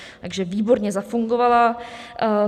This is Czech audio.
Takže výborně zafungovala.